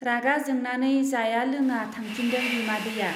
रागा जोंनानै जाया लोङा थांफिनदों बिमादैया।